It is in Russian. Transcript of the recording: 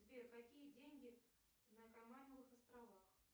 сбер какие деньги на каймановых островах